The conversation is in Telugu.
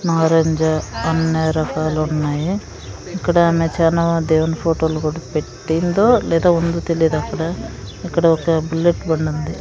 నారింజ అన్ని రకాలు ఉన్నాయి ఇక్కడ అన్నీ చానా దేవుని ఫోటోలు కూడా పెట్టిందో లేదో ఉందో తెలియదు అక్కడ ఇక్కడ ఒక బుల్లెట్ బండి ఉంది.